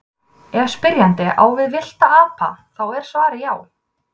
ef spyrjandi á við villta apa þá er svarið já